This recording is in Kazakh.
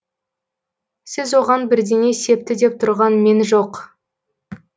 сіз оған бірдеңе септі деп тұрған мен жоқ